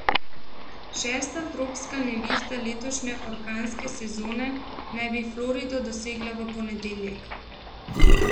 Šesta tropska nevihta letošnje orkanske sezone naj bi Florido dosegla v ponedeljek.